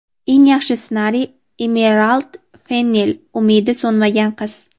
Eng yaxshi ssenariy – Emirald Fennel ("Umidi so‘nmagan qiz");.